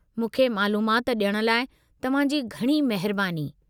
मूंखे मालूमाति ॾियणु लाइ तव्हां जी घणी महिरबानी।